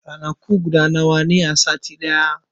Ranaku nawa ne a sati ɗaya?